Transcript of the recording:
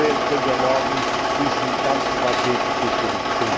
Deswegen können wir morgen diesem ganzen Paket zustimmen!